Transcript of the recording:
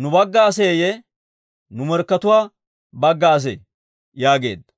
nu bagga aseeyye nu morkkatuwaa bagga asee?» yaageedda.